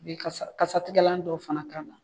I bɛ kasatigɛlan dɔw fana k'an na.